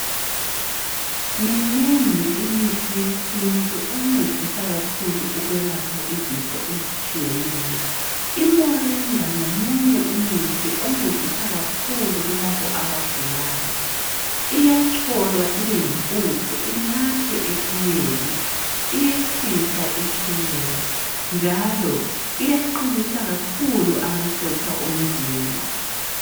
Minengi imithi yesintu encedisa kakhulu ukwelapha izifo ezitshiyeneyo imoringa ngomunye umuthi oncedisa kakhulu kulabo abagulayo iyacholwa ibeyimpuphu inathwe etiyeni iyehlisa itshukela njalo iyaqinisa kakhulu amasotsha omzimba.